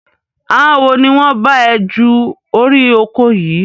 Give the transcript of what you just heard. Àwọn wo ni wọn bá ẹ ju orí oko yìí?